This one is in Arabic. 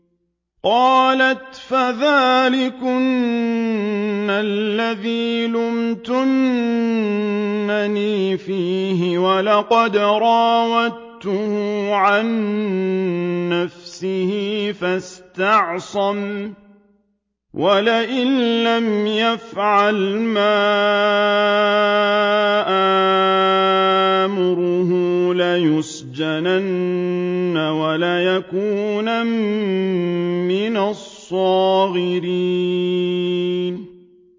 قَالَتْ فَذَٰلِكُنَّ الَّذِي لُمْتُنَّنِي فِيهِ ۖ وَلَقَدْ رَاوَدتُّهُ عَن نَّفْسِهِ فَاسْتَعْصَمَ ۖ وَلَئِن لَّمْ يَفْعَلْ مَا آمُرُهُ لَيُسْجَنَنَّ وَلَيَكُونًا مِّنَ الصَّاغِرِينَ